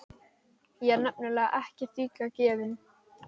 Ég er nefnilega ekkert illa gefinn.